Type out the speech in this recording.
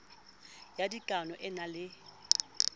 ya dikanao e na le